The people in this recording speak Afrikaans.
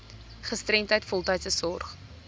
gestremdheid voltydse sorg